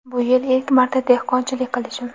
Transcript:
Bu yil ilk marta dehqonchilik qilishim.